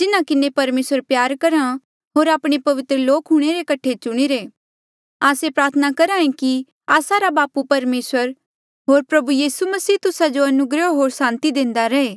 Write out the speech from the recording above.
जिन्हा किन्हें परमेसर प्यार करहा होर आपणे पवित्र लोक हूंणे रे कठे चुणिरे आस्से प्रार्थना करहे कि आस्सा रा बापू परमेसर होर प्रभु यीसू मसीह तुस्सा जो अनुग्रह होर सांति देंदा रहे